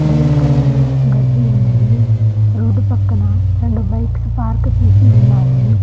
Green కలర్లో గడ్డి ఉన్నది రోడ్డు పక్కన రెండు బైక్స్ పార్క్ చేసి ఉన్నాయి.